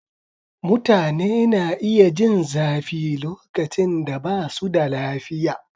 Mutane na iya jin zafi lokacin da ba su da lafiya.